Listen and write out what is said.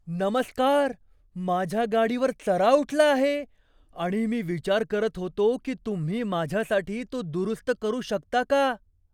नमस्कार! माझ्या गाडीवर चरा उठला आहे, आणि मी विचार करत होतो की तुम्ही माझ्यासाठी तो दुरुस्त करू शकता का?